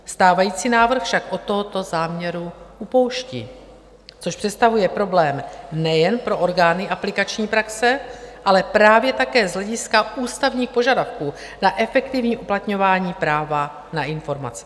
Stávající návrh však od tohoto záměru upouští, což představuje problém nejen pro orgány aplikační praxe, ale právě také z hlediska ústavních požadavků na efektivní uplatňování práva na informace.